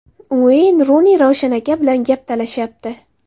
Ueyn Runi Ravshan aka bilan gap talashyapti.